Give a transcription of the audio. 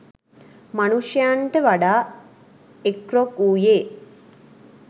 මනුෂ්‍යයන්ට වඩා එක් රොක් වූයේ